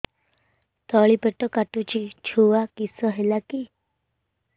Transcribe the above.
ତଳିପେଟ କାଟୁଚି ଛୁଆ କିଶ ହେଲା କି